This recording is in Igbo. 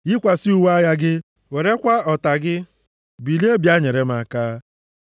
Yikwasị uwe agha gị, werekwa ọta gị; bilie bịa nyere m aka.